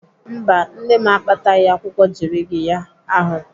Mba, nne m akpataghị akwụkwọ jirigiya ahụ.